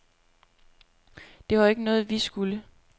Det var jo ikke noget, vi skulle.